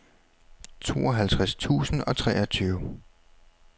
tooghalvtreds tusind og treogtyve